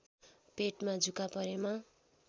पेटमा जुका परेमा